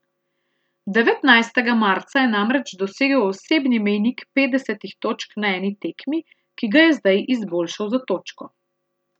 Devetnajstega marca je namreč dosegel osebni mejnik petdesetih točk na eni tekmi, ki ga je zdaj izboljšal za točko.